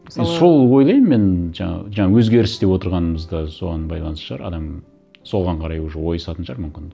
мысалы и сол ойлаймын мен жаңағы жаңа өзгеріс деп отырғанымыз да соған байланысты шығар адам соған қарай уже ойысатын шығар мүмкін